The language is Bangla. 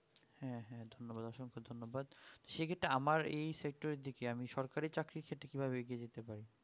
হ্যাঁ হ্যাঁ ধন্যবাদ অসংখ্য ধন্যবাদ সে ক্ষেতের আমার এই sector এর দিকে আমি সরকারি চাকরির ক্ষেত্রে কি ভাবে এগিয়ে যেতে পার